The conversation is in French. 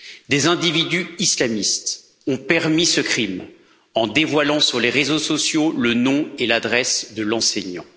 Des individus islamistes ont permis ce crime en dévoilant sur les réseaux sociaux le nom et l'adresse de l'enseignant.